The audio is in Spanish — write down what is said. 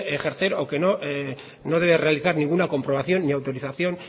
ejercer o que no debe realizar ninguna comprobación ni autorización